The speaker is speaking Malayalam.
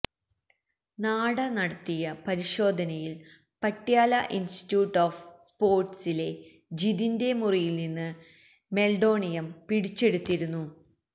നാഡ നടത്തിയ പരിശോധനയിൽ പട്യാല ഇൻസ്റ്റിറ്റിയൂട്ട് ഓഫ് സ്പോർട്സിലെ ജിതിന്റെ മുറിയിൽനിന്ന് മെൽഡോണിയം പിടിച്ചെടുത്തിരുന്നു